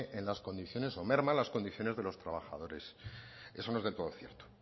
en las condiciones o merma las condiciones de los trabajares eso no es del todo cierto